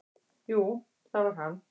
"""Jú, það var hann!"""